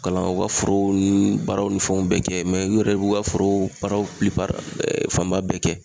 Kalan u ka forow ni baaraw ni fɛnw bɛɛ kɛ mɛ u yɛrɛ b'u ka forow baaraw pilipari ɛɛ fanba bɛɛ kɛ